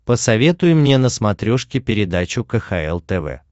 посоветуй мне на смотрешке передачу кхл тв